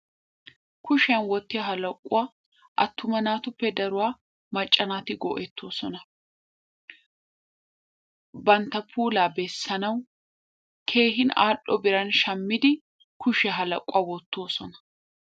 Kushiya wottiyo halaquwa attuma naatuppe daruwa macca naati go'ettoosona. Bantta puulaa bessanawu keehin al"o biran shammidi kushiyan ha laquwa wottoosona.